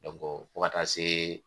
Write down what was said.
fo ka taa se.